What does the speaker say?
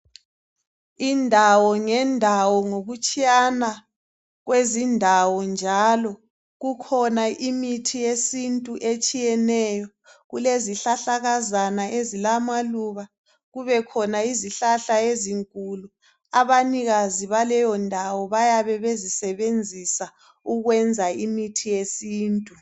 Indawo ngendawo ngokutshiyana kwezindawo njalo kukhona imithi yesintu etshiyeneyo. Kulezihlahlakazana ezilamaluba kubekhona izihlahla ezinkulu. Abanikazi baleyondawo bayabe bezisebenzisa ukwenza imithi yesintu.